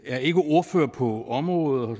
er ikke ordfører på området og